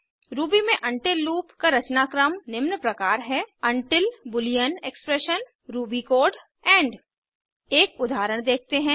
Ruby में until loop का रचनाक्रम निम्न प्रकार है until boolean expression Ruby code end एक उदाहरण देखते हैं